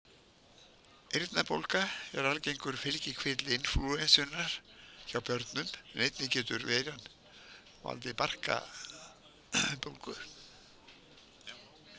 Eyrnabólga er algengur fylgikvilli inflúensunnar hjá börnum en einnig getur veiran valdið barkabólgu.